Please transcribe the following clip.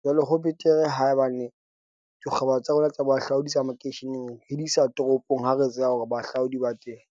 Jwale ho betere haebane dikgwebo tsa rona tsa bohahlaodi tsa makeisheneng re di isa toropong. Ha re tseba hore bahahlaodi ba teng.